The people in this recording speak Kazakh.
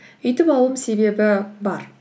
үйтіп алуымның себебі бар